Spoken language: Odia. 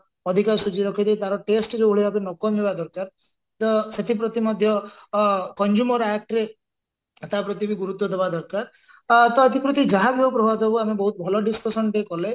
ଆଧିକା ସୁଜି ରଖିଦେଇ ତାର taste ଯଉଭଳି ଭାବେ ନ କମିବା ଦରକାର ତ ସେଥିପ୍ରତି ମଧ୍ୟ ଅ consumer act ରେ ତା ପ୍ରତିବି ଗୁରୁତ୍ଵ ଦବା ଦରକାର ଅ ତ ଏଥିପ୍ରତି ଯାହାବି ପ୍ରଭାବ ଯୋଗୁ ବହୁତ ଭଲ discussion ତେ କଲେ